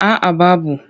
A a babu.